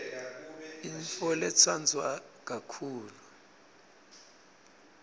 yintfoletsandwa kakhulu